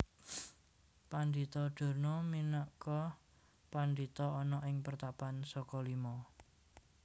Pandhita Durna minagka pandhita ana ing Pertapan Sokalima